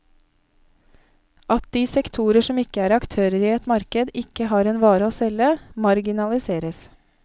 At de sektorer som ikke er aktører i et marked, ikke har en vare å selge, marginaliseres.